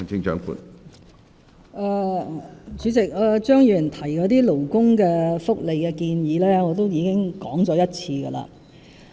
主席，張宇人議員提到那些勞工福利的措施，我已經說了一遍。